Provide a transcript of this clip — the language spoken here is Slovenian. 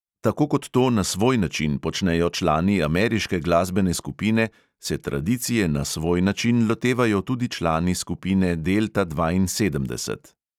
Tako kot to na svoj način počnejo člani ameriške glasbene skupine, se tradicije na svoj način lotevajo tudi člani skupine delta dvainsedemdeset.